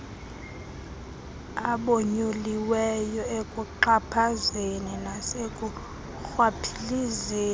abonyuliweyo ekuxhaphazeni nasekurhwaphilizeni